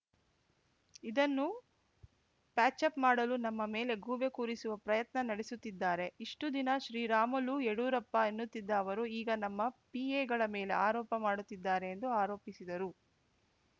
ಇದನ್ನು ಪ್ಯಾಚಪ್‌ ಮಾಡಲು ನಮ್ಮ ಮೇಲೆ ಗೂಬೆ ಕೂರಿಸುವ ಪ್ರಯತ್ನ ನಡೆಸುತ್ತಿದ್ದಾರೆ ಇಷ್ಟುದಿನ ಶ್ರೀರಾಮುಲು ಯಡಿಯೂರಪ್ಪ ಎನ್ನುತ್ತಿದ್ದ ಅವರು ಈಗ ನಮ್ಮ ಪಿಎಗಳ ಮೇಲೆ ಆರೋಪ ಮಾಡುತ್ತಿದ್ದಾರೆ ಎಂದು ಆರೋಪಿಸಿದರು